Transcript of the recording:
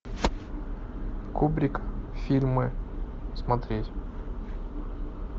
кубрик фильмы смотреть